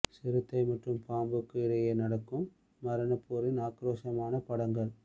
சிறுத்தை மற்றும் பாம்புக்கு இடையே நடக்கும் மரண போரின் ஆக்ரோஷமான படங்கள்